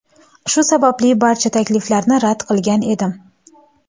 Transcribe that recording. Shu sababli barcha takliflarni rad qilgan edim.